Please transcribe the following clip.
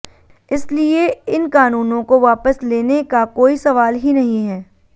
इसलिए इन कानूनों को वापस लेने का कोई सवाल ही नहीं है